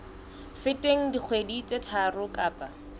feteng dikgwedi tse tharo kapa